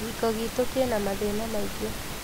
Kĩhiko gitũ kĩna mathĩna maingĩ